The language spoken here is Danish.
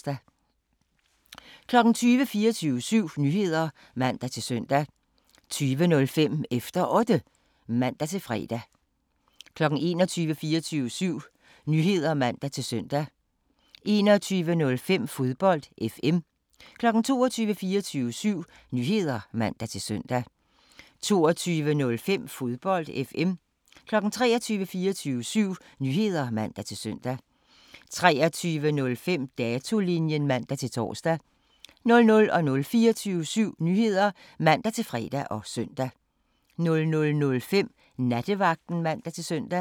20:00: 24syv Nyheder (man-søn) 20:05: Efter Otte (man-fre) 21:00: 24syv Nyheder (man-søn) 21:05: Fodbold FM 22:00: 24syv Nyheder (man-søn) 22:05: Fodbold FM 23:00: 24syv Nyheder (man-søn) 23:05: Datolinjen (man-tor) 00:00: 24syv Nyheder (man-fre og søn) 00:05: Nattevagten (man-søn)